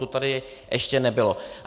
To tady ještě nebylo.